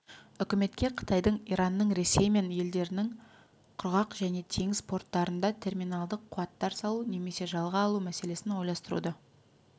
үкіметке қытайдың иранның ресей мен елдерінің құрғақ және теңіз порттарында терминалдық қуаттар салу немесе жалға алу мәселесін ойластыруды